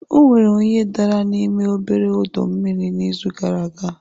Onwere onye dara n'ime obere ọdọ mmiri n'izu gara aga